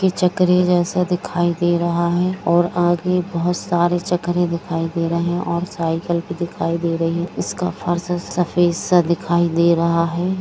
ये चक्र जैसा दिखाई दे रहा है और आगे बहुत सारे चक्र दिखाई दे रहे है साइकिल भी दिखाई दे रही है उसका फर्श सफ़ेद सा दिखाई दे रहा है।